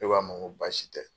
Ne k'a ma n ko baasi tɛ.